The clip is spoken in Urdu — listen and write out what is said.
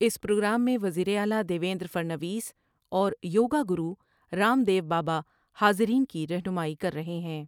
اس پروگرام میں وزیر اعلی Devendra Fadnavis اور yoga guru Ramdev Baba حاضرین کی رہنمائی کر رہے ہیں ۔